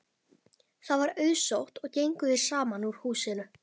Það var auðsótt og gengu þeir saman úr húsinu.